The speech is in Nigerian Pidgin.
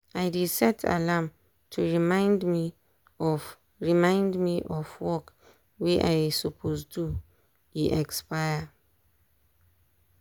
i dey set alarm to remind me of remind me of work wey i suppose do e expire.